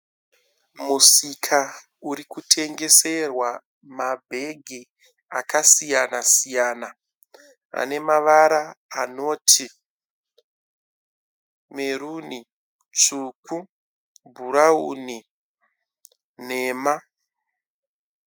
Musika uri kutengeserwa mabhegi akasiyana siyana ane mavara anoti meruni, tsvuku, bhurawuni nenhema.